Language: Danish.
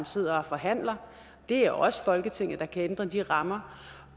sidder og forhandler og det er også folketinget der kan ændre de rammer